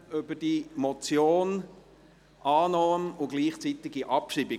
Annahme und gleichzeitige Abschreibung.